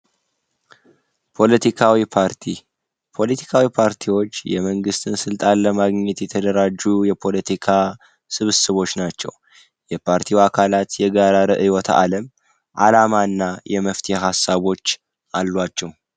ፖለቲካዊ ፓርቲ ፖለቲካዊ ፓርቲዎች የመንግስት ስልጣንን ለማግኘት የተደራጁ የፖለቲካ ስብስቦች ናቸው። የፓርቲው አባላት የጋራ አላማ እና ርዕዮተ አለም አላቸው።